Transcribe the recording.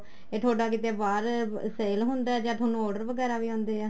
ਇਹ ਤੁਹਾਡਾ ਕਿੱਥੇ ਬਾਹਰ sale ਹੁੰਦਾ ਜਾਂ ਤੁਹਾਨੂੰ ਕਿੱਥੇ order ਵਗੈਰਾ ਵੀ ਆਉਦੇ ਹੈ